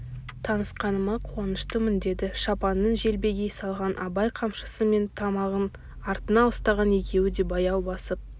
танысқаныма қуаныштымын деді шапанын желбегей салған абай қамшысы мен тымағын артына ұстаған екеуі де баяу басып